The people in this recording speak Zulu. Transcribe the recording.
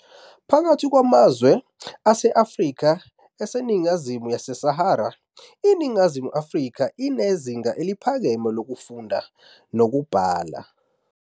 Phakathi kwamazwe ase-Afrika eseningizimu yeSahara, iNingizimu Afrika inezinga eliphakeme kakhulu lokufunda nokubhala.